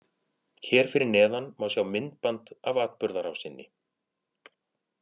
Hér fyrir neðan má sjá myndband af atburðarrásinni.